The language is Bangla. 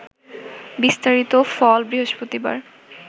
বিস্তারিত ফল বৃহস্পতিবার